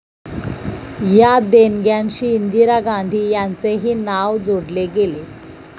या देणग्यांशी इंदिरा गांधी यांचेही नाव जोडले गेले.